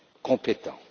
compétents.